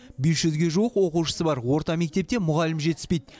бес жүзге жуық оқушысы бар орта мектепте мұғалім жетіспейді